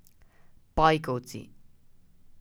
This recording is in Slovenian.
Pajkovci!